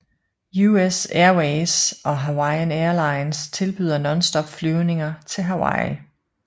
US Airways og Hawaiian Airlines tilbyder nonstop flyvninger til Hawaii